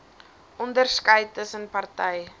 onderskeid tussen party